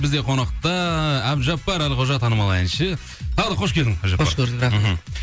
бізде қонақта әбдіжаппар әлқожа танымал әнші тағы да қош келдің қош көрдік рахмет мхм